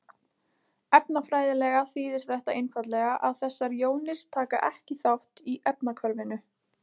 Efnafræðilega þýðir þetta einfaldlega að þessar jónir taka ekki þátt í efnahvarfinu.